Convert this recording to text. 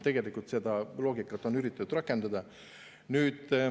Tegelikult on seda loogikat üritatud rakendada.